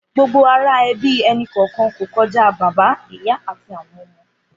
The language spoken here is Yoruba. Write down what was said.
Gbógbó àrá èbí ẹni kọọkàn kó kòjá Bàbá, Ìyá àtí áwòn òmò